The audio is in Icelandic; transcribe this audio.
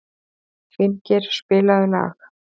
Finngeir, spilaðu lag.